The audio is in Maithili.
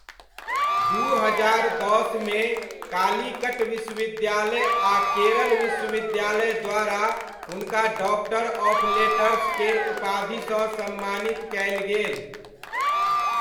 दू हजार दसमे कालीकट विश्वविद्यालय आ केरल विश्वविद्यालय द्वारा हुनका डॉक्टर ऑफ़ लेटर्स केर उपाधिसँ सम्मानित कयल गेल।